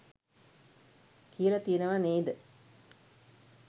කියල තියනවා නේද?